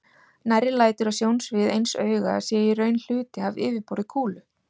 Nærri lætur að sjónsvið eins auga sé í raun hluti af yfirborði kúlu.